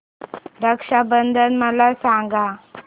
रक्षा बंधन मला सांगा